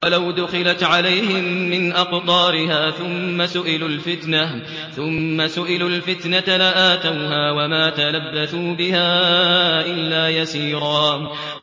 وَلَوْ دُخِلَتْ عَلَيْهِم مِّنْ أَقْطَارِهَا ثُمَّ سُئِلُوا الْفِتْنَةَ لَآتَوْهَا وَمَا تَلَبَّثُوا بِهَا إِلَّا يَسِيرًا